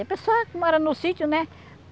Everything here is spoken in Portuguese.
É pessoal que mora no sítio, né?